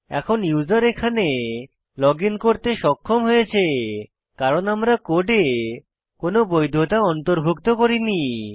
এখন ইউসার এখানে লগইন করতে সক্ষম হয়েছে কারণ আমরা কোডে কোনো বৈধতা অন্তর্ভুক্ত করিনি